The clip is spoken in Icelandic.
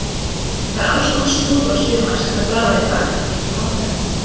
Það er alls konar slúður á síðum enskra blaða í dag líkt og vanalega.